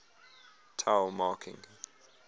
tao marking